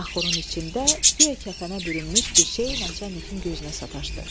Axurun içində guya kəfənə bürünmüş bir şey Naçalnikin gözünə sataşdı.